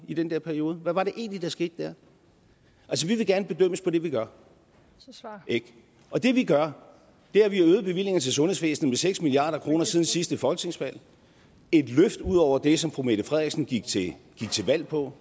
i den der periode hvad var det egentlig der skete der vi vil gerne bedømmes på det vi gør og det vi gør er at vi har øget bevillingerne til sundhedsvæsenet med seks milliard kroner siden sidste folketingsvalg et løft ud over det som fru mette frederiksen gik til valg på